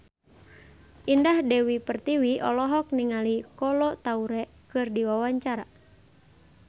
Indah Dewi Pertiwi olohok ningali Kolo Taure keur diwawancara